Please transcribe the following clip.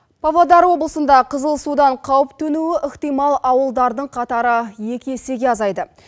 павлодар облысында қызыл судан қауіп төнуі ықтимал ауылдардың қатары екі есеге азайды